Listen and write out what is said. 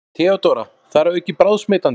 THEODÓRA: Þar að auki bráðsmitandi!